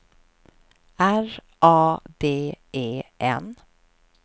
R A D E N